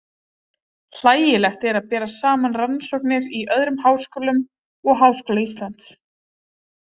Hlægilegt er að bera saman rannsóknir í öðrum háskólum og Háskóla Íslands.